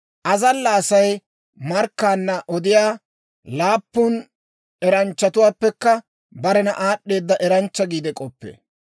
Azalla Asay markkaanna odiyaa laappun eranchchatuwaappekka barena aad'd'eeda eranchcha giide k'oppee.